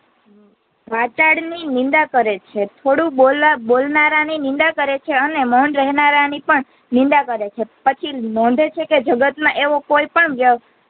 વાચાળ ની નિંદા કરે છે થોડું બોલ બોલનારા ની નિંદા કરે છે અને મોઉન રહેનારની પણ નિંદા કરે છે પછી નોંધે છે કે જગત માં એવો કોઈ પણ વય